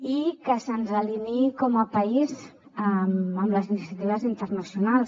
i que se’ns alineï com a país amb les iniciatives internacionals